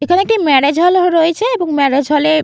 এখানে একটি marriage hall রয়েছে এবং ম্যারেজ হল এ --